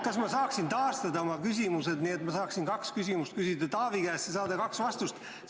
Kas ma saaksin taastada oma küsimused, nii et ma saaksin kaks küsimust küsida Taavi käest ja saada kaks vastust?